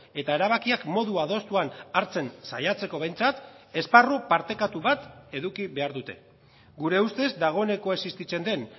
eta erabakiak modu adostuan hartzen saiatzeko behintzat esparru partekatu bat eduki behar dute gure ustez dagoeneko existitzen den